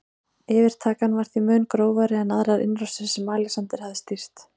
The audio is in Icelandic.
Yfirtakan var því mun grófari en aðrar innrásir sem Alexander hafði stýrt.